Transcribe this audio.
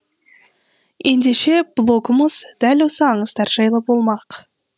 ендеше блогымыз дәл осы аңыздар жайлы болмақ